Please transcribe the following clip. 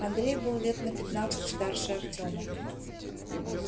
андрей был лет на пятнадцать старше артема